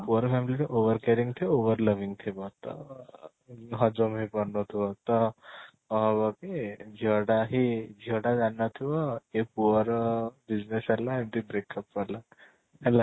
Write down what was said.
ପୁଅ ର family ଟା over caring ଥିବ over loving ଥିବ ତ ହଜମ ହେଇ ପାରୁ ନ ଥିବ ତ କ'ଣ ହବ କି ଝିଅ ଟା ହିଁ ଝିଅ ଟା ଜାଣି ନ ଥିବ କି ଏ ପୁଅ ର business ହେଲା ଏମିତି breakup କରିବା ହେଲା